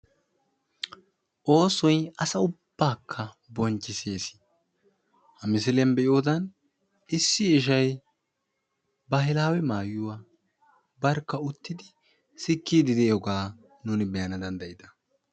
Oosoy asa ubbaakka bonchchissees. Ha misiliyan be'iyodan issi ishay baahilaawe maayuwa barkka uttidi sikkiiddi de'iyogaa nuuni be'ana danddayida.